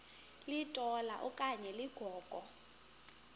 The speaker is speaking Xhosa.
litola okanye ligogo